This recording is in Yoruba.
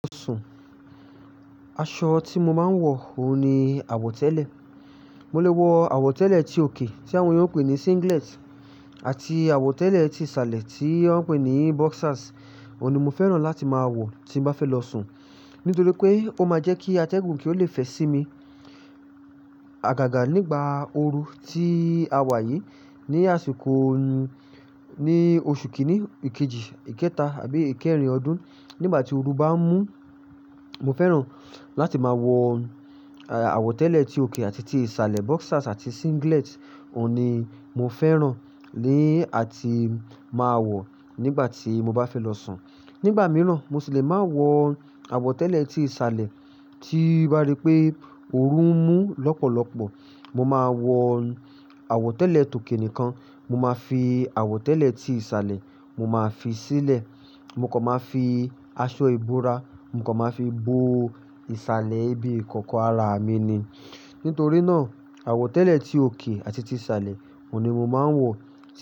Aṣọ tí mo máa ń wọ, òun ni àwọ̀tẹ́lẹ̀. Mo lè wọ àwọ̀tẹ́lẹ̀ ti òkè tí àwọn oloyibo n pè ní singlet àti àwọ̀tẹ́lẹ̀ ti ìsàlẹ̀ tí wọ́n ń pè ní boxers. Òun ni mo fẹ́ràn láti máa wọ tí n bá fẹ́ lọ sùn. Nítorí pé ó máa jẹ́ kí atẹ́gùn kí ó le fẹ̀ sí mi. Àgàgà nígbà ooru ti a wà yìí ní àsìkò, ní oṣù kìíní, ìkejì, ìkẹta àbí ìkẹrin ọdún. Nígbà tí ooru bá ń mú, mo fẹ́ràn láti máa wọ àwọ̀tẹ́lẹ̀ ti òkè àti ti ìsàlẹ̀. Boxers àti singlet, òun ni mo fẹ́ràn ni àti máa wọ̀ nígbà tí mo bá fẹ́ lọ sùn. Nígbà mìíràn, mo sì le máa wọ àwọ̀tẹ́lẹ̀ ti ìsàlẹ̀ tí o bá dí pé ooru ń mú lọ́pọ̀lọpọ̀. Mo máa wọ àwọ̀tẹ́lẹ̀ tòkè nìkan. Mo máa fi àwọ̀tẹ́lẹ̀ ti ìsàlẹ̀, mo máa fi í sílẹ̀. Mo kan máa fi aṣọ ìbora, mo kan máa fi bo ìsàlẹ̀ ibi ikòkò ara mi ni. Nítorí náà, àwọ̀tẹ́lẹ̀ ti òkè àti ti ìsàlẹ̀ òun ni mo máa ń wọ.